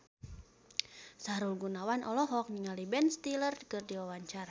Sahrul Gunawan olohok ningali Ben Stiller keur diwawancara